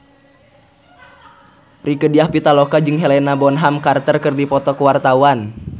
Rieke Diah Pitaloka jeung Helena Bonham Carter keur dipoto ku wartawan